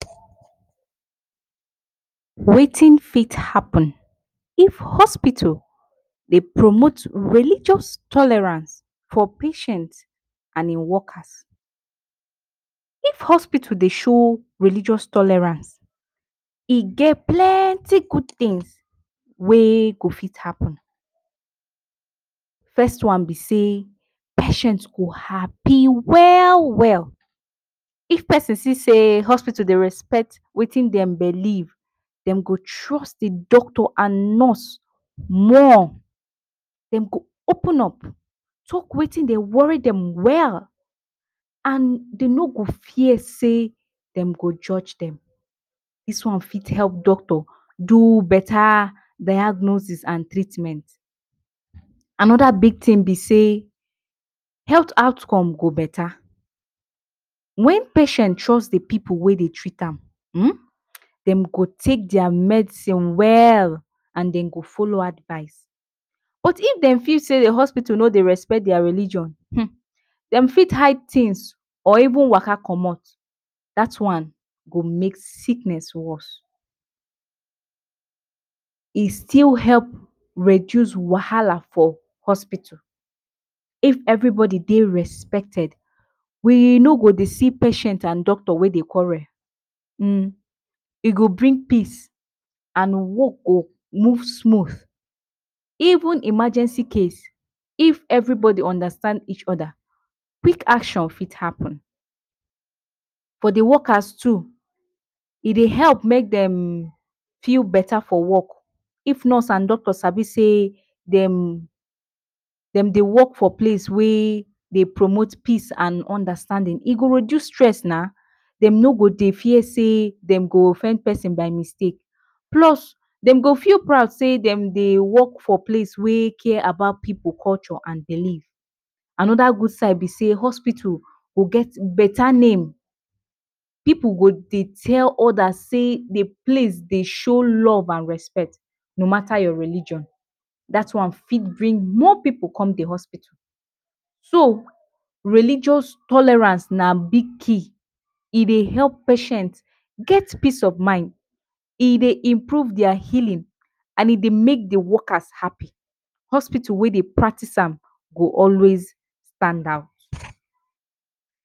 Wetin fit happen if hospital dey promot religious tolerance fo patients and in workers? If hospital dey show religious tolerance, e get plenty good tins wey go fit happen, first one be sey, patient go happy well well. If pesin see sey hospital dey respect wetin dem belief, dem go trust the doctor and nurse more. Dem go open up, talk wetin dey wori dem well and dem no go fear sey, dem go judje dem. Dis one fit help doctor do beta diagnosis and treatment. Anoda big tin be sey health outcome go beta, wen patient trust the pipu wey dey treat am,[um] den go take dia medicine well and dem go folo advice but if dem feel say the hospital no dey respect dia religion um, dem fit hide tins or even waka comot, dat one go make sickness worse.e still help reduce wahala for hospital, if everybodi dey respected we no go dey see patient and doctor wey dey quarrel, um e go bring peace and work go move smoot even emergency case. If everybodi understand each oda quik action fit happen, for the workers too, e dey help mey dem feel beta for work. If nurse and doctor sabi sey dem dey work for place wey dey promot peace and understandin, e go reduce stress na, dem no go dey fear sey dem go offend pesin by mistake plus dem go fit proud sey dem dey work for place wey care about pipu culture and belief. Anoda gud side be sey hospital go get beta name, pipu go dey tell odas sey, the place dey show love and respect no mata your religion, dat one fit bring more pipu come the hospital. So religious tolerance na big key, e dey help patient, get peace of mind, e dey improve dia healin and e dey make the workers happy. Hospital wey dey practice am, go always standout.